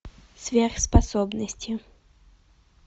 сверхспособности